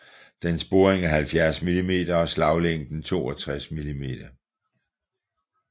Dens boring er 70 mm og slaglængden 62 mm